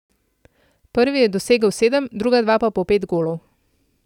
Prvi je dosegel sedem, druga dva pa po pet golov.